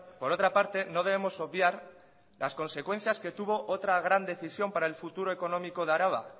por otra parte no debemos obviar las consecuencias que tuvo otra gran decisión para el futuro económico de araba